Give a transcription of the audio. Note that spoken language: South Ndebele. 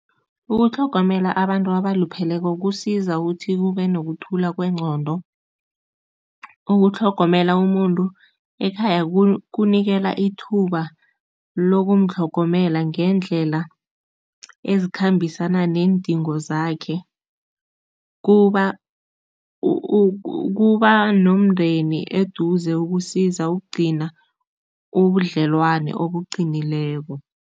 Ukutlhogomela abantu abalupheleko kusiza ukuthi kube nokuthola kwengqondo. Ukutlhogomela umuntu ekhaya kukunikela ithuba lokumtlhogomela ngeendlela ezikhambisana neendingo zakhe, kuba kuba nomndeni eduze ukusiza ukugcina ubudlelwane obuqinileko.